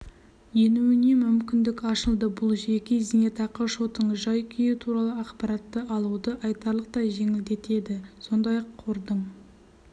енуіне мүмкіндік ашылды бұл жеке зейнетақы шотының жай-күйі туралы ақпаратты алуды айтарлықтай жеңілдетеді сондай-ақ қордың